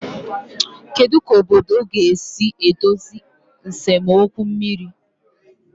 Kedu ka obodo ga-esi edozi nsemokwu mmiri?